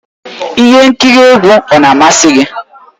Ihe nkiri egwu ọ na-amasị gị?